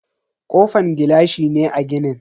Kofan gilashi ne a ginin.